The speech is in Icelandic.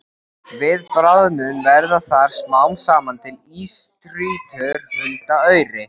Við bráðnun verða þar smám saman til ísstrýtur huldar auri.